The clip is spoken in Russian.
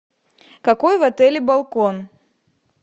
какой в отеле балкон